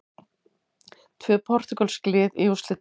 Tvö portúgölsk lið í úrslitum